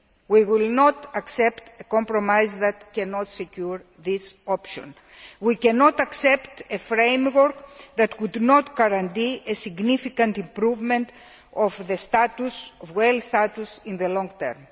We will not accept a compromise that cannot secure this option. We cannot accept a framework that would not guarantee a significant improvement of the status of whales in the long term.